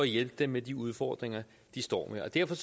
hjælpe dem med de udfordringer de står med derfor